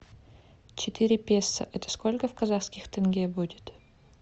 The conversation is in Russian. четыре песо это сколько в казахских тенге будет